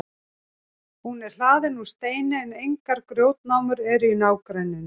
hún er hlaðin úr steini en engar grjótnámur eru í nágrenninu